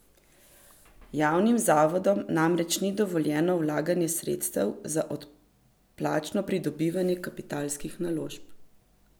Javnim zavodom namreč ni dovoljeno vlaganje sredstev za odplačno pridobivanje kapitalskih naložb.